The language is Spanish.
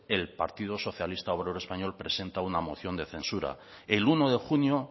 el partido socialista obrero español presenta una moción de censura el uno de junio